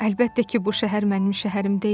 Əlbəttə ki, bu şəhər mənim şəhərim deyildi.